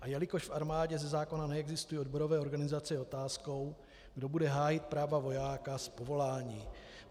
A jelikož v armádě ze zákona neexistují odborové organizace, je otázkou, kdo bude hájit práva vojáka z povolání.